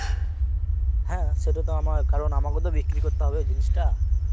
হ্যাঁ সেটা তো আমায়, কারণ আমাকেও তো বিক্রি করতে হবে জিনিসটা